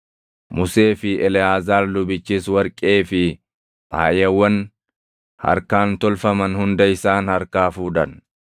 Musee fi Eleʼaazaar lubichis warqee fi faayawwan harkaan tolfaman hunda isaan harkaa fuudhan.